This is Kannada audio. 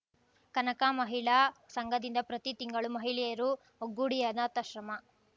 ಕನಕ ಮಹಿಳಾ ಸಂಘದಿಂದ ಪ್ರತಿ ತಿಂಗಳು ಮಹಿಳೆಯರು ಒಗ್ಗೂಡಿ ಅನಾಥಾಶ್ರಮ